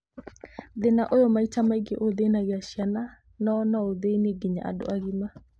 Thĩna ũyũ maita maingĩ ũthĩnagia ciana , no noũthĩnie nginya andũ agima